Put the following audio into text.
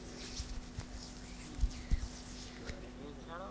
তো একই